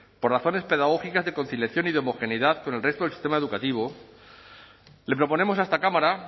por razones pedagógicas de conciliación y de homogeneidad con el resto del sistema educativo le proponemos a esta cámara